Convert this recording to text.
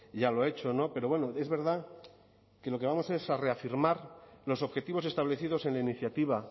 ya lo ha hecho pero bueno es verdad que lo que vamos es a reafirmar los objetivos establecidos en la iniciativa